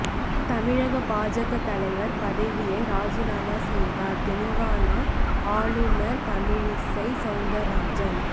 தமிழக பாஜக தலைவர் பதவியை ராஜினாமா செய்தார் தெலுங்கானா ஆளுநர் தமிழிசை சவுந்திரராஜன்